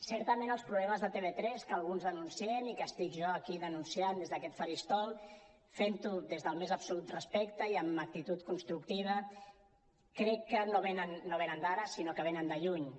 certament els problemes de tv3 que alguns denunciem i que estic jo aquí denunciant des d’aquest faristol fent ho des del més absolut respecte i amb actitud constructiva crec que no venen d’ara sinó que venen de lluny